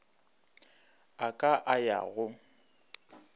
a ka a ya go